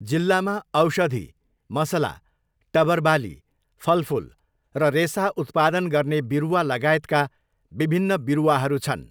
जिल्लामा औषधी, मसला, टबर बाली, फलफूल र रेसा उत्पादन गर्ने बिरुवा लगायतका बिभिन्न बिरुवाहरू छन्।